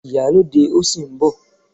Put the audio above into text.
Ìyálóde òsì ń bọ̀.